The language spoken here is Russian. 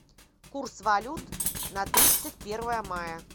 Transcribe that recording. курс валют на тридцать первое мая